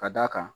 Ka d'a kan